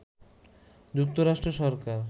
যুক্তরাষ্ট্র সরকার